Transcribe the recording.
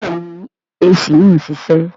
Bẹ́ẹ̀ni AC náà ń ṣiṣẹ́